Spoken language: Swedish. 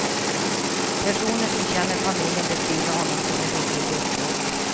Personer som känner familjen beskriver honom som en riktig despot.